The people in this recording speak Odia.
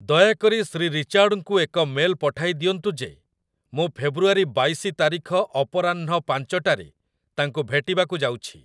ଦୟାକରି ଶ୍ରୀ ରିଚାର୍ଡଙ୍କୁ ଏକ ମେଲ୍ ପଠାଇ ଦିଅନ୍ତୁ ଯେ ମୁଁ ଫେବ୍ରୁଆରି ବାଇଶି ତାରିଖ ଅପରାହ୍ନ ପାଂଚ ଟାରେ ତାଙ୍କୁ ଭେଟିବାକୁ ଯାଉଛି